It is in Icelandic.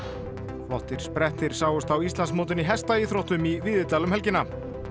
flottir sprettir sáust á Íslandsmótinu í hestaíþróttum í Víðidal um helgina